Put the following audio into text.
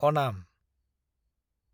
अनाम